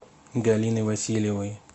галиной васильевой